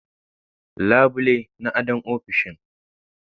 labule na ado ofishin.